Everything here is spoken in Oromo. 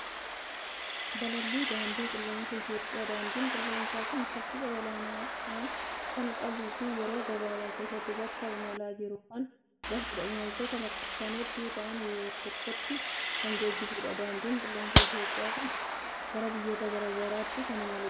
Balallii daandii qilleensaa Itoophiyaa. Daandiin qilleensaa kun saffisa olaanaa kan qabuu fi yeroo gabaabaa keessatti bakka imalaa jiru kan gahudha. Imaltoota lakkoofsaan hedduu ta'an yeroo tokkotti kan geejjibudha. Daandiin qilleensaa Itoophiyaa kun gara biyyoota garaa garaatti kan imaludha.